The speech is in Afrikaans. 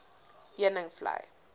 heuningvlei